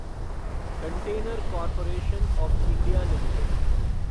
container corporation of India limited